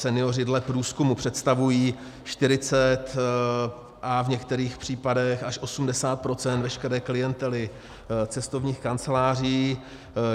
Senioři dle průzkumů představují 40 a v některých případech až 80 % veškeré klientely cestovních kanceláří.